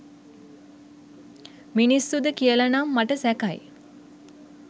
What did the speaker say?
මිනිස්සුද කියල නං මට සැකයි